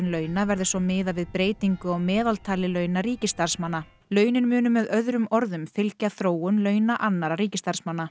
launa verði svo miðað við breytingu á meðaltali launa ríkisstarfsmanna launin munu með öðrum orðum fylgja þróun launa annarra ríkisstarfsmanna